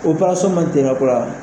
man